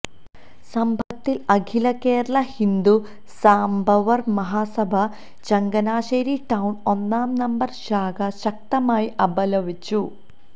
സംഭവത്തില് അഖില കേരള ഹിന്ദു സാംബവര് മഹാസഭ ചങ്ങനാശ്ശേരി ടൌണ് ഒന്നാം നമ്പര് ശാഖ ശക്തമായി അപലപിച്ചു